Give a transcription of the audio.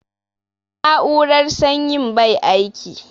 Na'urar sanyin bai aiki